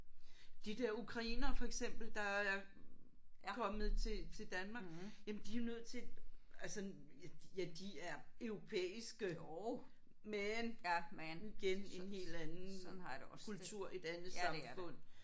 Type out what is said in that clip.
De der ukrainere for eksmpel der er kommet til til Danmark. Jamen de er nødt til altså ja ja de er europæiske men igen en helt anden kultur et andet samfund